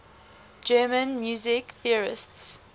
german music theorists